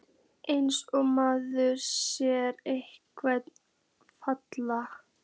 Eins og maður sé einhver fatafella!